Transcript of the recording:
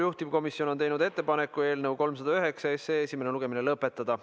Juhtivkomisjon on teinud ettepaneku eelnõu 309 esimene lugemine lõpetada.